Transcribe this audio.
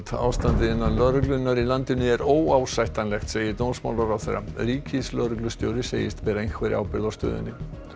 ástandið innan lögreglunnar í landinu er óásættanlegt segir dómsmálaráðherra ríkislögreglustjóri segist bera einhverja ábyrgð á stöðunni